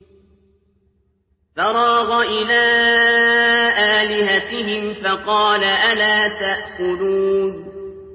فَرَاغَ إِلَىٰ آلِهَتِهِمْ فَقَالَ أَلَا تَأْكُلُونَ